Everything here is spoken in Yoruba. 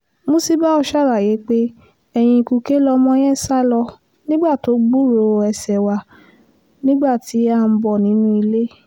musibau ṣàlàyé pé ẹ̀yìnkùkẹ̀ lọmọ yẹn sá lọ nígbà tó gbúròó ẹsẹ̀ wa nígbà tí à ń bọ̀ nínú ilé